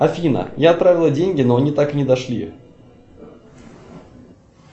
афина я отправила деньги но они так и не дошли